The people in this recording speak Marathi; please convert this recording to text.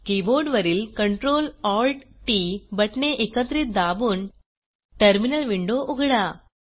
कीबोर्ड वरील CtrlAltT बटणे एकत्रित दाबून टर्मिनल विंडो उघडा